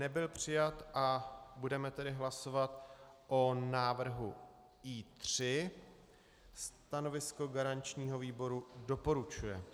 Nebyl přijat, budeme tedy hlasovat o návrhu I3. Stanovisko garančního výboru doporučuje.